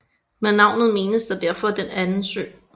Med navnet menes der derfor Den anden sø